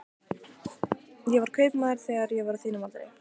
Ég var þar kaupmaður þegar ég var á þínum aldri.